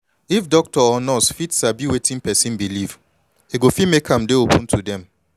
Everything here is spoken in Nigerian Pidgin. if doctor or nurse fit dey sabi wetin person believe e go fit make am dey open to dem